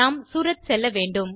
நாம் சூரத் செல்லவேண்டும்